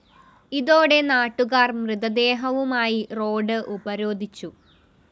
ഇതോടെ നാട്ടുകാര്‍ മൃതദേഹവുമായി റോഡ്‌ ഉപരോധിച്ചു